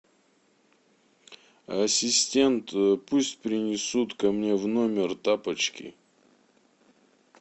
ассистент пусть принесут ко мне в номер тапочки